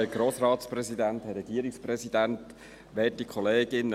Kommissionssprecher der SAK.